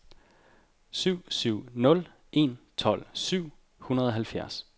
syv syv nul en tolv syv hundrede og halvfjerds